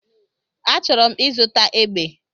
Achọrọ m ịzụta egbe